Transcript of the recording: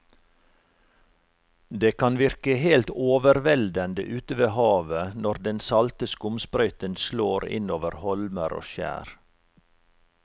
Det kan virke helt overveldende ute ved havet når den salte skumsprøyten slår innover holmer og skjær.